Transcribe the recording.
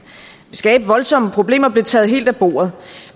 skabe voldsomme problemer blev taget helt af bordet